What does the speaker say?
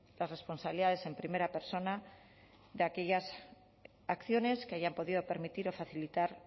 las responsabilidades en primera persona de aquellas acciones que hayan podido permitir o facilitar